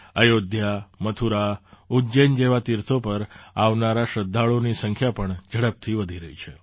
અયોધ્યા મથુરા ઉજ્જૈન જેવાં તીર્થો પર આવનારા શ્રદ્ધાળુઓની સંખ્યા પણ ઝડપથી વધી રહી છે